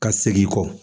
Ka segin kɔ